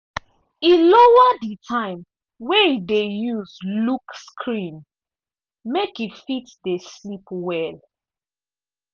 e lower di time wey e dey use look screen make e fit dey sleep well.